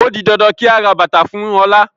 Ó di dandan kí a ra bàtàa fún Ọlá